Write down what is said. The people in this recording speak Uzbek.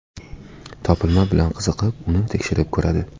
Topilma bilan qiziqib, uni tekshirib ko‘radi.